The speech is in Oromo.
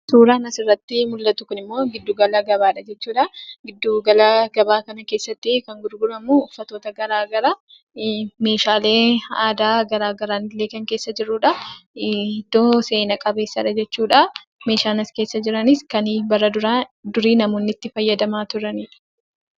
Suuraan asirratti mul'atu kunimmoo giddu gala gabaadha jechuudhaa, giddu gala gabaa kana keessattii kan gurguramuu; uffatoota garagaraa meeshaalee aadaa garagaraanillee kan keessa jirudhaa, iddoo seenaa qabeessadha jechuudhaa, meeshaan as keessa jiranis kan duraa bara durii namoonni itti fayyadamaa turanidha.